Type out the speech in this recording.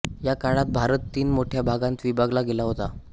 या काळात भारत तीन मोठ्या भागांत विभागला गेला होता